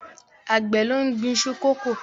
Àgbẹ̀ ló ń gbin iṣu kókò.